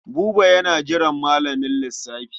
Buba yana jiran malamin lissafi.